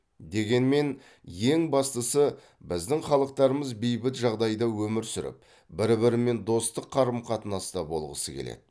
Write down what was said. дегенмен ең бастысы біздің халықтарымыз бейбіт жағдайда өмір сүріп бір бірімен достық қарым қатынаста болғысы келеді